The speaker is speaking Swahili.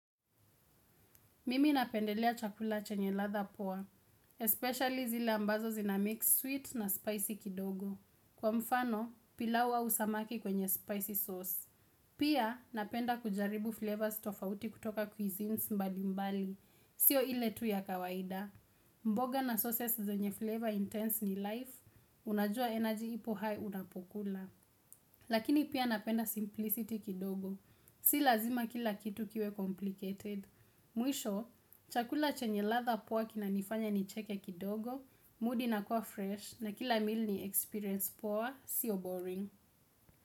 Mimi napendelea chakula chenye ladha poa, especially zile ambazo zina mix sweet na spicy kidogo. Kwa mfano, pilau au samaki kwenye spicy sauce. Pia napenda kujaribu flavors tofauti kutoka cuisines mbali mbali, sio ile tu ya kawaida. Mboga na sauces zenye flavor intense ni life, unajua energy ipo high unapokula. Lakini pia napenda simplicity kidogo, sio lazima kila kitu kiwe complicated. Mwisho, chakula chenye latha poa kina nifanya nicheke kidogo, mood inakuwa fresh na kila meal ni experience poa, sio boring.